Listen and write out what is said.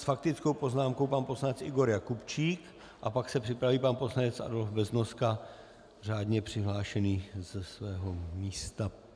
S faktickou poznámkou pan poslanec Igor Jakubčík a pak se připraví pan poslanec Adolf Beznoska, řádně přihlášený ze svého místa.